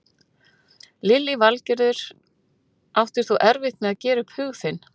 Lillý Valgerður: Áttir þú erfitt með að gera upp hug þinn?